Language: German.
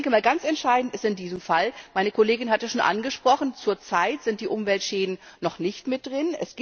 Aber ich denke mal, ganz entscheidend ist in diesem Fall meine Kollegin hat es schon angesprochen Zurzeit sind die Umweltschäden noch nicht mit drin.